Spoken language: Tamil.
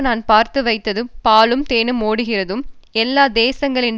நான் பார்த்து வைத்ததும் பாலும் தேனும் ஓடுகிறதும் எல்லா தேசங்களின்